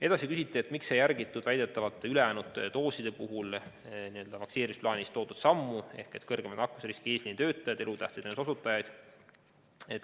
Edasi küsite, miks ei järgitud väidetavalt üle jäänud dooside puhul vaktsineerimisplaanis toodud sammu ehk ei vaktsineeritud suurema nakkusriskiga eesliinitöötajaid ja elutähtsa teenuse osutajaid.